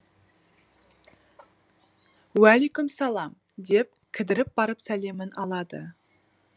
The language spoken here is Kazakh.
уәликүмсәләм деп кідіріп барып сәлемін алады